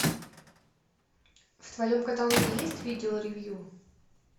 в твоем каталоге есть видео ревью